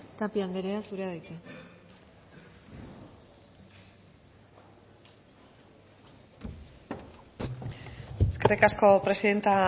tapia andrea zurea da hitza eskerrik asko presidente